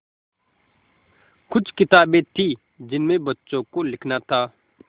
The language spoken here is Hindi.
कुछ किताबें थीं जिनमें बच्चों को लिखना था